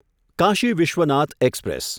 Kashi Vishwanath express